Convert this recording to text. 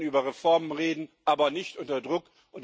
Wir können über Reformen reden, aber nicht unter Druck.